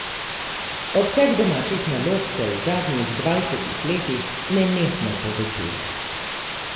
Obseg domačih nalog se v zadnjih dvajsetih letih nenehno povečuje.